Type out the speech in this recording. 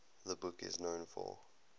the book is known for